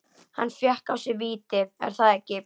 Hann fékk á sig víti, er það ekki?